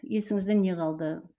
есіңізде не қалды